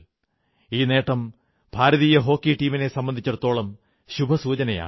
ഈ നേട്ടം ഭാരതീയ ഹോക്കി ടീമിനെ സംബന്ധിച്ചിടത്തോളം ശുഭസൂചനയാണ്